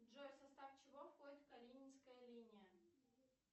джой в состав чего входит калининская линия